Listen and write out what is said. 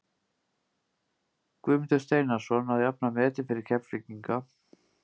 Guðmundur Steinarsson að jafna metin fyrir Keflvíkinga.